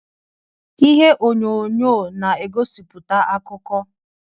Ihe onyonyo na-egosiputa akụkọ.